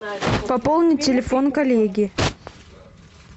пополни телефон коллеги